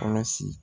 Kɔlɔsi